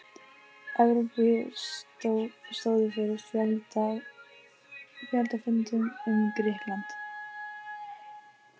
Evrópu stóðu fyrir fjöldafundum um Grikkland.